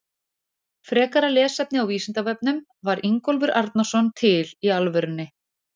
Frekara lesefni á Vísindavefnum: Var Ingólfur Arnarson til í alvörunni?